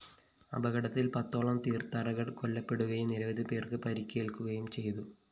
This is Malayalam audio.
അപകടത്തില്‍ പത്തോളം തീര്‍ത്ഥാടകര്‍ കൊല്ലപ്പെടുകയും നിരവധി പേര്‍ക്ക് പരിക്കേല്‍ക്കുകയും ചെയ്തു